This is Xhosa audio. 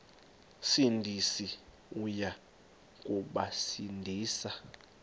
sindisi uya kubasindisa